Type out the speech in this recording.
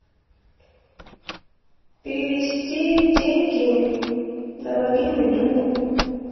перевести деньги на мобильный другу